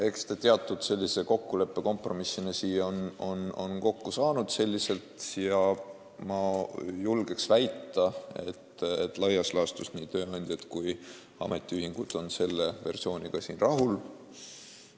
Eks ta teatud kompromissina selliselt kokku on saanud ja ma julgen väita, et laias laastus on nii tööandjad kui ka ametiühingud selle versiooniga rahul.